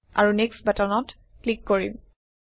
আৰু নেক্সট বাটনত ক্লিক কৰিম